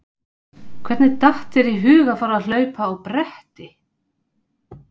Hvernig datt þér í hug að fara að hlaupa á bretti?